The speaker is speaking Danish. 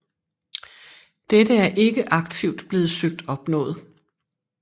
Dette er ikke aktivt blevet søgt opnået